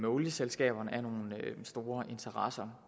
olieselskaberne er nogle store interesser